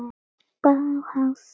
Eva María.